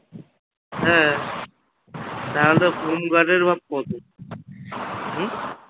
হ্যা তাহলে home guard এর ভাব কত হম